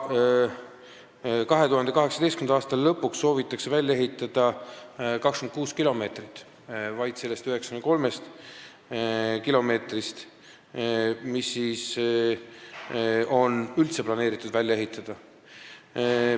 2018. aasta lõpuks soovitakse välja ehitada vaid 26 kilomeetrit sellest 93 kilomeetrist, mis on üldse planeeritud välja ehitada.